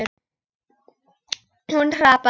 Hún hrapar.